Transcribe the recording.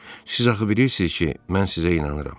Siz axı bilirsiz ki, mən sizə inanıram.